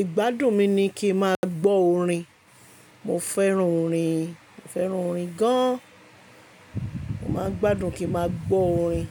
Ìgbádùn mi ni kí n máa gbọ́ orin. Mo fẹ́ràn orin, mo fẹ́ràn orin gan. Mo máa ń gbádùn kí n máa gbọ́ orin.